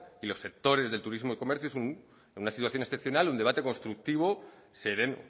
y los sectores del turismo y comercio en una situación excepcional es un debate constructivo y sereno